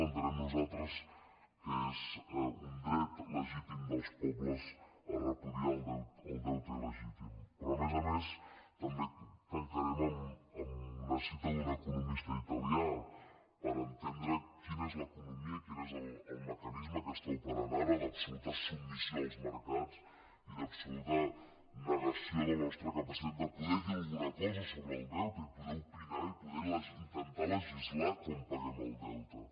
entenem nosaltres que és un dret legítim dels pobles a repudiar el deute ilperò a més a més també tancarem amb una cita d’un economista italià per entendre quina és l’economia i quin és el mecanisme que està operant ara d’absoluta submissió als mercats i d’absoluta negació de la nostra capacitat de poder dir alguna cosa sobre el deute i poder opinar i poder intentar legislar com paguem el deute